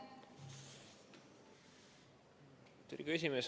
Austatud esimees!